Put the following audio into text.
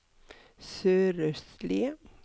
sørøstlige